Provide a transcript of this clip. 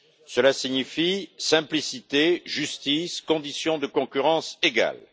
Cela signifie simplicité, justice, conditions de concurrence égales.